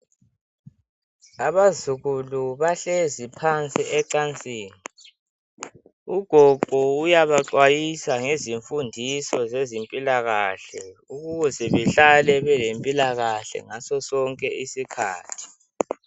Abazukulu bahlezi phansi ecansini .Ugogo uyabaxwayisa ngezimfundiso zezimpilakahle . Ukuze behlale belempilakahle ngaso sonke isikhathi .